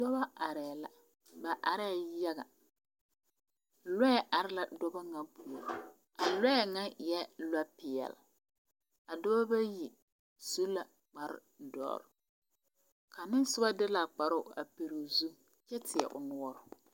Dɔba are la ba areɛ yaga lɛ, lɔɛ are la dɔba ba ma puoriŋ, a lɔɛ ŋa e la lɔɔ pɛɛle adɔba ba yi su la kpaar dɔre kaŋa me ŋ soba de la o kpaaroo a piili o zu kyɛ teɛ nɔre